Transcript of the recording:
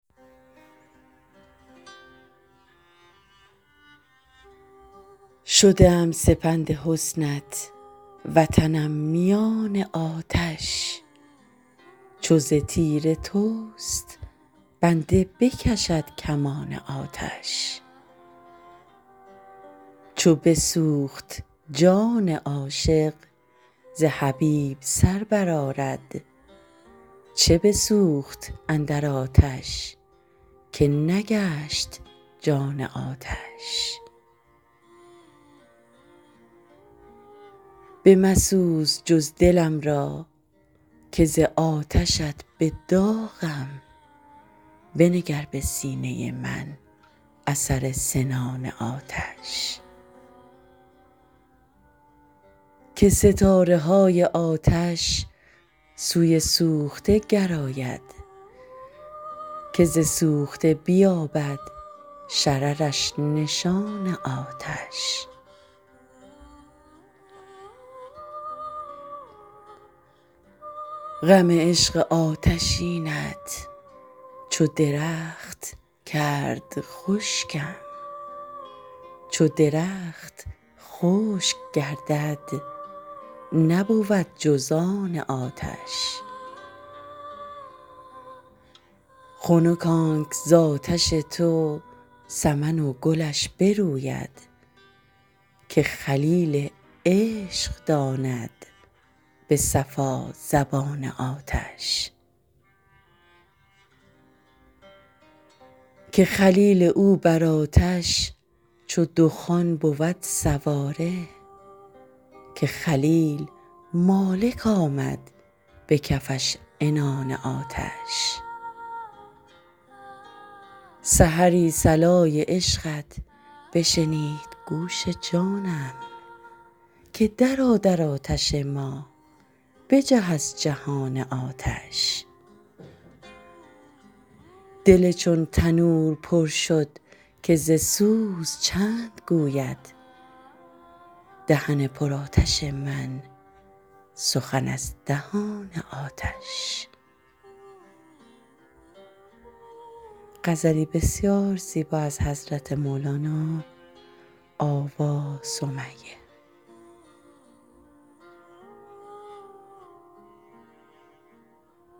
شده ام سپند حسنت وطنم میان آتش چو ز تیر تست بنده بکشد کمان آتش چو بسوخت جان عاشق ز حبیب سر برآرد چه بسوخت اندر آتش که نگشت جان آتش بمسوز جز دلم را که ز آتشت به داغم بنگر به سینه من اثر سنان آتش که ستاره های آتش سوی سوخته گراید که ز سوخته بیابد شررش نشان آتش غم عشق آتشینت چو درخت کرد خشکم چو درخت خشک گردد نبود جز آن آتش خنک آنک ز آتش تو سمن و گلش بروید که خلیل عشق داند به صفا زبان آتش که خلیل او بر آتش چو دخان بود سواره که خلیل مالک آمد به کفش عنان آتش سحری صلای عشقت بشنید گوش جانم که درآ در آتش ما بجه از جهان آتش دل چون تنور پر شد که ز سوز چند گوید دهن پرآتش من سخن از دهان آتش